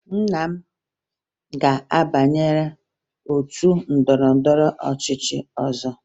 Nna m ga-abanye otu ndọrọndọrọ ọchịchị ọzọ